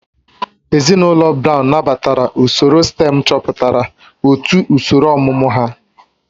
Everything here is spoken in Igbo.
Ezinụlọ Brown nabatara usoro stém chọpụtara otu usoro ọmụmụ ha